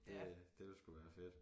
Det øh det ville sgu være fedt